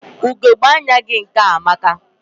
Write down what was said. Ugegbe anya gị nke a amaka.